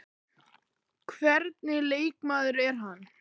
Hvernig leikmaður er hann?